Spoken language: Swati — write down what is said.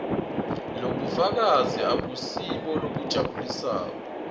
lobufakazi abusibo lobujabulisako